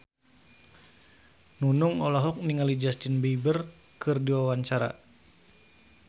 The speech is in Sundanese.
Nunung olohok ningali Justin Beiber keur diwawancara